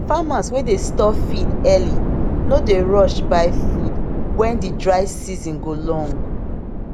farmers wey dey store feed early no dey rush buy food when de dry season go long